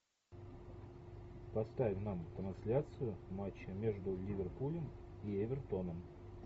поставь нам трансляцию матча между ливерпулем и эвертоном